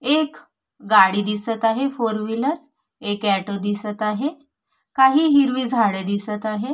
एक गाडी दिसत आहे फोर व्हीलर एक ऍटो दिसत आहे काही हिरवी झाडे दिसत आहे.